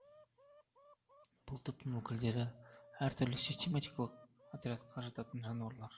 бұл топтың өкілдері әр түрлі систематикалық отрядқа жататын жануарлар